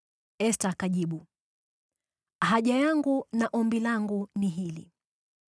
Esta akajibu, “Haja yangu na ombi langu ni hili: